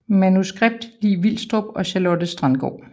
Manuskript Li Vilstrup og Charlotte Strandgaard